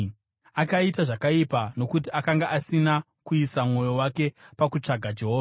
Akaita zvakaipa nokuti akanga asina kuisa mwoyo wake pakutsvaga Jehovha.